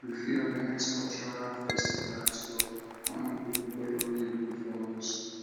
we fit organise culural festival to honour pipo wey don live before us